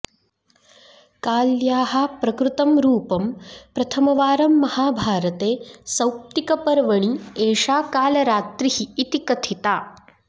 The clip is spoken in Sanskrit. काल्याः प्रकृतं रूपं प्रथमवारं महाभारते सौप्तिकपर्वणि एषा कालरात्रिः इति कथिथा